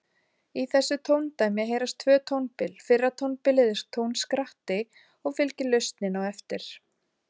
Í þessu tóndæmi heyrast tvö tónbil, fyrra tónbilið er tónskratti og fylgir lausnin á eftir.